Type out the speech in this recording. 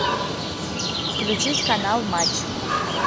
включить канал матч